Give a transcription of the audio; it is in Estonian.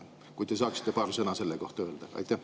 Kui te saaksite paar sõna selle kohta öelda?